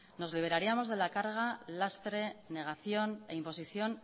nos liberaríamos de la carga lastre negación e imposición